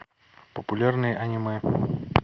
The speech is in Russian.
популярные аниме